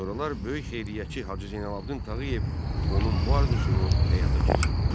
Sonralar böyük xeyriyyətçi Hacı Zeynalabdin Tağıyev onun bu arzusunu həyata keçirdi.